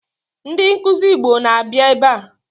Ndi nkuzi Igbo na-abịa ebe a